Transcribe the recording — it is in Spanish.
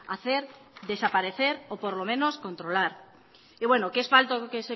hacer desaparecer o por lo menos controlar y bueno que es falso que